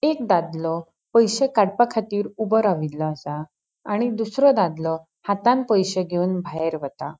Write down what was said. एक दादलों पैशे काड़पाखातीर ऊबो राविल्लो आसा आणि दूसरों दादलों हातान पैशे घेवन भायर वता.